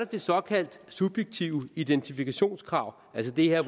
det såkaldte subjektive identifikationskrav altså det her